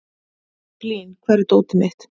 Blín, hvar er dótið mitt?